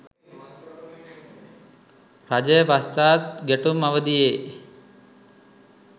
රජය පශ්චාත් ගැටුම් අවධියේ